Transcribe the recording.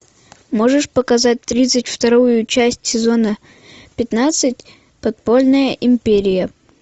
можешь показать тридцать вторую часть сезона пятнадцать подпольная империя